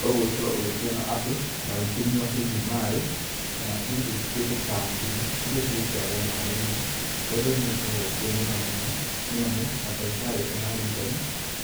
No gũgĩgĩkorwo ũkĩona andũ, magĩkĩnyua hihi maĩ kana hihi kĩndũ ta ndimũ irĩa cigĩkĩragwo maĩ-inĩ. Ũndũ ũyũ nĩ ũgĩkoragwo ũkĩrĩ mwega mũno, nĩ amu madagĩtarĩ kana arigitani